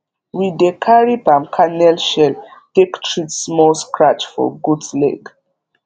we dey carry palm kernel shell take treat small scratch for goat leg